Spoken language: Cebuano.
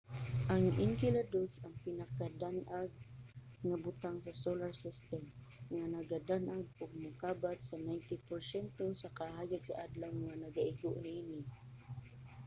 ang enceladus ang pinakadan-ag nga butang sa solar system nga nagadan-ag og mokabat sa 90 porsyento sa kahayag sa adlaw nga nagaigo niini